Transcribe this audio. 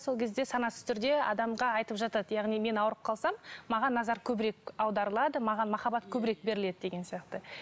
сол кезде санасыз түрде адамға айтып жатады яғни мен ауырып қалсам маған назар көбірек аударылады маған махаббат көбірек беріледі деген сияқты